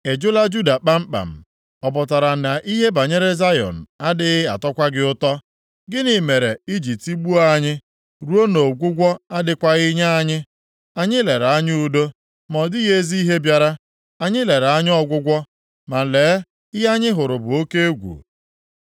Ị jụla Juda kpamkpam? Ọ pụtara na ihe banyere Zayọn adịghị atọkwa gị ụtọ? Gịnị mere i ji tigbuo anyị ruo na ọgwụgwọ adịghịkwa nye anyị? Anyị lere anya udo, ma ọ dịghị ezi ihe bịara; anyị lere anya ọgwụgwọ, ma lee, ihe anyị hụrụ bụ oke egwu.